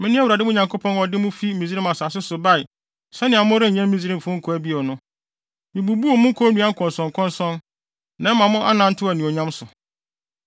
Mene Awurade mo Nyankopɔn a ɔde mo fi Misraim asase so bae sɛnea morenyɛ Misraimfo nkoa bio no. Mibubuu mo konnua nkɔnsɔnkɔnsɔn, na ɛma mo anantew anuonyam so.